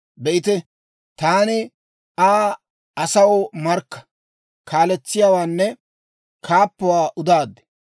Be'ite, taani Aa asaw markka, kaaletsiyaawaanne kaappuwaa udaad.